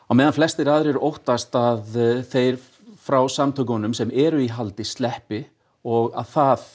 á meðan flestir aðrir óttast að þeir frá samtökunum sem eru í haldi sleppi og það